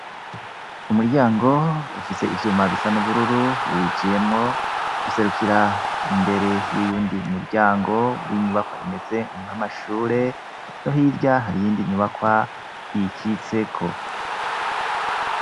Umuryango ufise ivyuma bisa n'ubururu uwijiyemwo userukira imbere y'uyundi umuryango w'inyubakwa imeze nko amashure no hirya hariyindi nyubakwa ikitseko.